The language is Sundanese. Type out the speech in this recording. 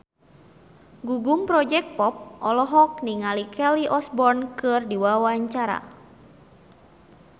Gugum Project Pop olohok ningali Kelly Osbourne keur diwawancara